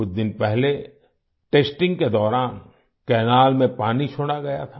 कुछ दिन पहले टेस्टिंग के दौरान कैनल में पानी छोड़ा गया था